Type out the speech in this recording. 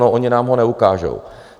No, oni nám ho neukážou.